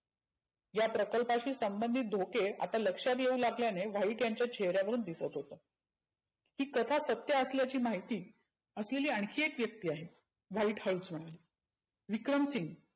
या प्रकल्पाशी संबंधीत धोके आता लक्षात येऊ लागल्याने व्हाईट यांच्या चेहऱ्या वरुण दिसत होतं. हि कथा सत्य असल्याची महिती असलेली आनखी एक व्यक्ती आहे. व्हाईट हळूच म्हणे विक्रमसिंग